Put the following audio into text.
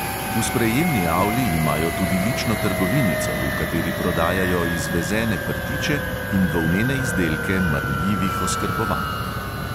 V sprejemni avli imajo tudi lično trgovinico, v kateri prodajajo izvezene prtiče in volnene izdelke marljivih oskrbovank.